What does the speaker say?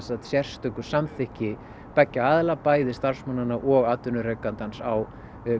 sérstöku samþykki beggja aðila bæði starfsmannanna og atvinnurekandans á